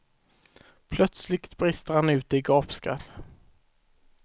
Plötsligt brister han ut i gapskratt.